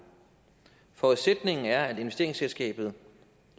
forudsætningen er at investeringsselskabet